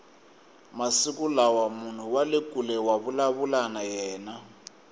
masiku lawa munhu wale kule wa vulavula na yena